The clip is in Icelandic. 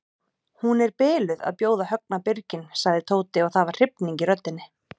Hún er biluð að bjóða Högna birginn sagði Tóti og það var hrifning í röddinni.